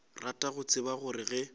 rata go tseba gore ge